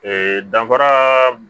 Ee danfara b